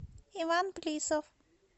иван плисов